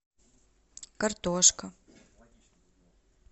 картошка